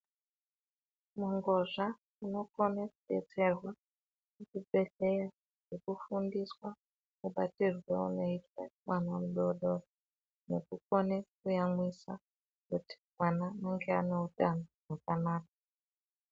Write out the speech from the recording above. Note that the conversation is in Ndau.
Ngozva inokona kudetserwa kuchibhedhleya nekufundiswa mabatirwo anoitwa mwana mudodori. Nekukona kuyamwisa kuti mwana ange ane utano hwakanaka.